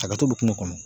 Hakɛto bɛ kun kɔnɔ